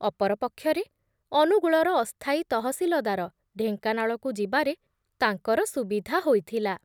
ଅପର ପକ୍ଷରେ, ଅନୁଗୁଳର ଅସ୍ଥାୟୀ ତହସିଲଦାର ଢେଙ୍କାନାଳକୁ ଯିବାରେ ତାଙ୍କର ସୁବିଧା ହୋଇଥିଲା ।